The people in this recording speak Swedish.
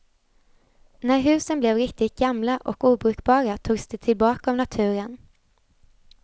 När husen blev riktigt gamla och obrukbara togs de tillbaka av naturen.